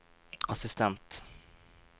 assistent